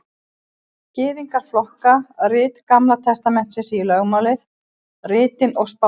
Gyðingar flokka rit Gamla testamentisins í lögmálið, ritin og spámennina.